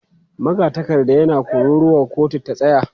Magatakarda yana kururuwa 'kotu ta tsaya!'